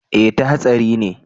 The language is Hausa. eh ta hatsari ne